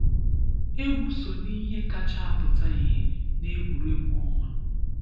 Egwu so n’ihe kacha apụta ihe n’egwuregwu ọnwa.